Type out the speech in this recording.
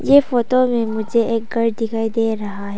यह फोटो में मुझे एक घर दिखाई दे रहा है।